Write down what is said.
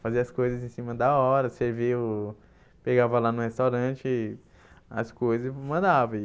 Fazia as coisas em cima da hora, servia o, pegava lá no restaurante as coisas e mandava.